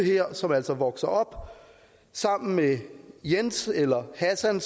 som altså vokser op sammen med jens eller hassan